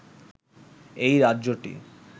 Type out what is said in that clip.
এই রাজ্যটি